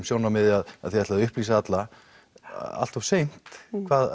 sjónarmiði að þið ætlið að upplýsa alla allt of seint